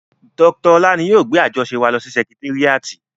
Dr Ọlá ni yóò gbé àjọṣe wa lọ sí sẹkitéríàtì